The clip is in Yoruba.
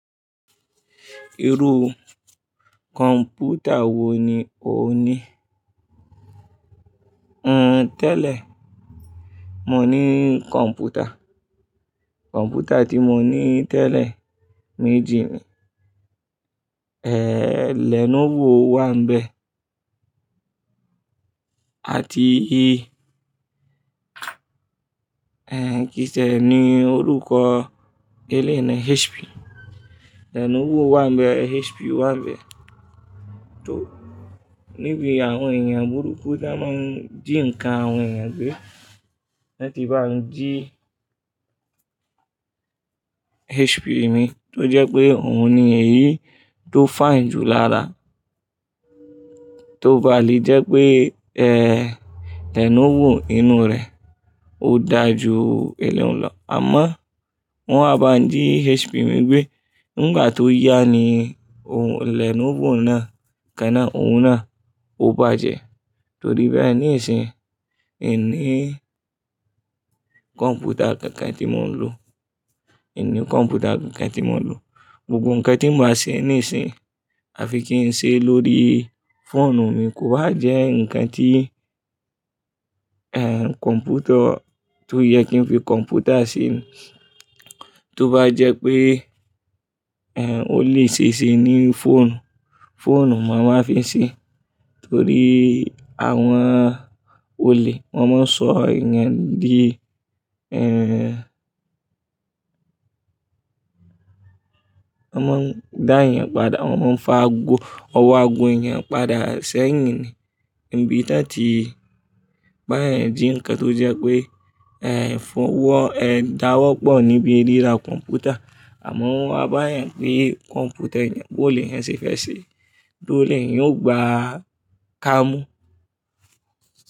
Irú kọ̀ǹpútà wo ni ò ń ní? Hhnn tẹ́lẹ̀, mo ní kọ̀ǹpútà. Kọ̀ǹpútà tí mo ní tẹ́lẹ̀ méjì ni. Eh, Lenovo wà bẹ́ẹ̀ àti eh, kíni tiẹ̀ ni orúkọ? Eléyi ni HP. Lenovo wà bẹ́ẹ̀, HP wà bẹ́ẹ̀. Tó níbi àwọn èèyàn burúkú tí wọ́n máa ń jí nǹkan àwọn èèyàn gbé, lọ ti bá n jí HP mi, tó jẹ́ pé òun ni èyí tó fine jù lára. Tó bá le jẹ́ pé eh, Lenovo inú rẹ̀ ó da ju eléun lọ. Àmọ́ wọ́n à bá n jí HP mi gbé, nígbà tó yá ni Lenovo náà kan náà, òun náà ó bàjẹ́. Torí bẹ́ẹ̀ ní ìsìn, ì n ní kọ̀ǹpútà kan kan tí mò ń lò. Èmi ní kọ̀ǹpútà kan kan tí mò ń lò. Gbogbo nǹkan tí n ba ṣe ní ìsìn, a fi kí ń ṣe lórí fóònù mi. Kò bá jẹ́ nǹkan tí eh, kọ̀ǹpútọ̀ tó yẹ kí n fi kọ̀ǹpútà ṣe. Tó bá jẹ́ pé eh, ó lè ṣe ṣe ní fóònù, fóònù màá wáa fi ṣe. Torí àwọn olè wọ́n máa ń sọ èèyàn dí eh, wọ́n máa ń dá èèyàn padà, wọ́n máa ń fa ago, ọwọ́ ago èèyàn padà sẹ́yìn ni. Ìbí tí wọ́n ti bá èèyàn jí nǹkan tó jẹ́ pé eh, fọ́wọ́ eh, dáwọ́pọ̀ níbi ríra kọ̀ǹpútà. Àmọ́ wọ́n á bá èèyàn gbe kọ̀ǹpútà èèyàn bó le èyan ṣe fẹ́ ṣe, tó ri ẹ̀ èyán o gba ká mú.